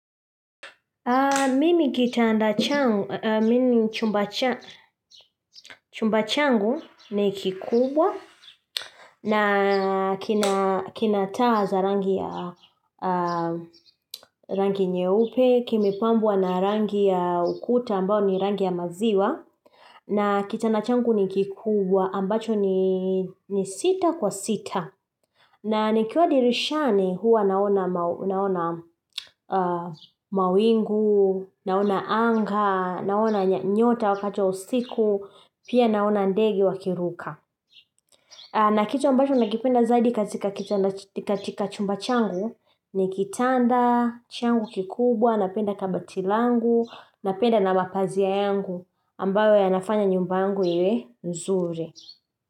Mimi kitanda changu, chumba changu ni kikubwa na kina taa za rangi ya rangi nyeupe, kimepambua na rangi ya ukuta ambao ni rangi ya maziwa na kitanda changu ni kikubwa ambacho ni sita kwa sita. Na nikiwa dirishani huwa naona mawingu, naona anga, naona nyota wakati wa usiku, pia naona ndege wakiruka. Na kitu ambacho nakipenda zaidi katika chumba changu, ni kitanda, changu kikubwa, napenda kabati langu, napenda na mapazia yangu ambayo ya nafanya nyumbangu iwe nzuri.